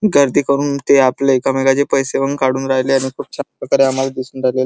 गर्दी करून ते आपले एकामेकांचे पैसे पण काढू राहिले आणि खूप छान प्रकारे--